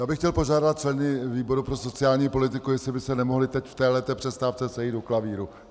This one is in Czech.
Já bych chtěl požádat členy výboru pro sociální politiku, jestli by se nemohli teď v této přestávce sejít u klavíru.